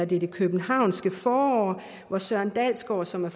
det det københavnske forår hvor søren dalsgaard som er